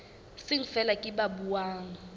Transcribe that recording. seng feela ke ba buang